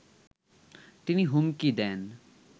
তিনি হুমকি দেন